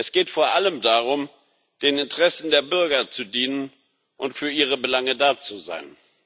Es geht vor allem darum, den Interessen der Bürger zu dienen und für ihre Belange da zu sein.